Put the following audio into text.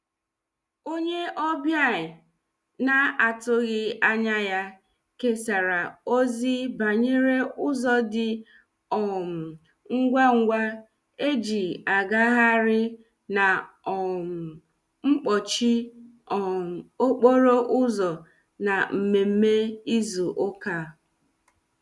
Onye ọbia na-atụghi anya ya kesara ozi banyere ụzo di um ngwa ngwa eji agaghari na um mkpochi um okporo ụzo na mmemme izu ụka.